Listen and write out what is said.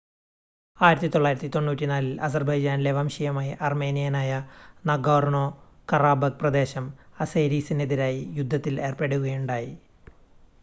1994-ൽ അസർബൈജാനിലെ വംശീയമായി അർമേനിയനായ നാഗോർനോ-കറാബക്ക് പ്രദേശം അസേരിസിനെതിരായി യുദ്ധത്തിൽ ഏർപ്പെടുകയുണ്ടായി